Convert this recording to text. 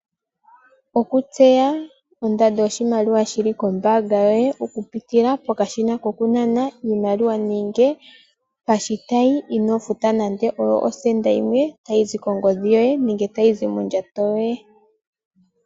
Oku tseya ondando yoshimaliwa shili kombaanga oku pitila pokashina koku nana iimaliwa nenge pashitayi ino futa nande osenda yimwe tayi zi kongodhi yoye nenge tayi zi mondjato yoye.